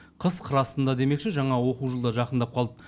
қыс қыр астында демекші жаңа оқу жылы да жақындап қалды